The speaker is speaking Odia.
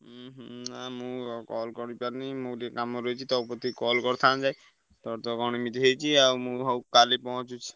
ହୁଁ ହୁଁ ଆଉ ମୁଁ call କରିପାରୁନି ମୁଁ ଟିକେ କାମରେ ରହିଛି ତୋ କତିକି call କରିଥାନ୍ତି। ତୋର ତ କଣ ଏମିତି ହେଇଛି ଆଉ ମୁଁ ହଉ କାଲି ପହଁଞ୍ଚୁଛି।